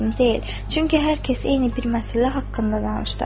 Çünki hər kəs eyni bir məsələ haqqında danışdı.